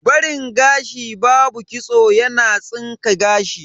Barin gashi babu kitso yana tsinka gashi.